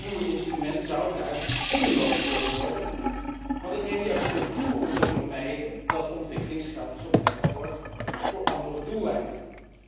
Dit nieuwe instrument zou daardoor zinloos worden, want het heeft juist tot doel om te vermijden dat ontwikkelingsgeld gebruikt wordt voor andere doeleinden.